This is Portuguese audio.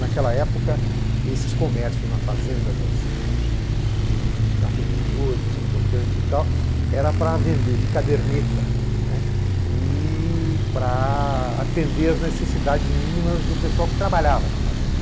Naquela época, esses comércios na fazenda das dos dos dos cafeicultores importantes e tal eram para vender de caderneta, né, e para atender às necessidades mínimas do pessoal que trabalhava na fazenda.